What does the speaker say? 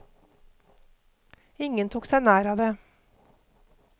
Ingen tok seg nær av det.